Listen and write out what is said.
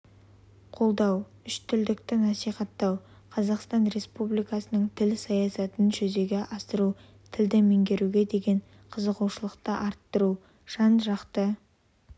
қолдау үштілдікті насихаттау қазақстан республикасының тіл саясатын жүзеге асыру тілді меңгеруге деген қызығушылықты арттыру жан-жақты